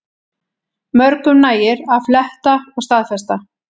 Mörgum nægir að fletta og staðfesta